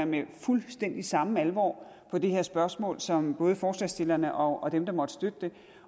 med fuldstændig samme alvor på det her spørgsmål som både forslagsstillerne og dem der måtte støtte det